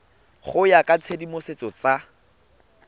go ya ka ditsamaiso tsa